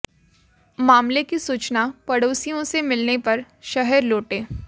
मामले की सूचना पड़ोसियों से मिलने पर शहर लौटे